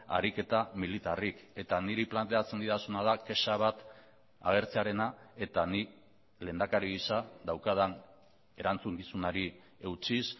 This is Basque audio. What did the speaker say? ariketa militarrik eta niri planteatzen didazuna da kexa bat agertzearena eta nik lehendakari gisa daukadan erantzukizunari eutsiz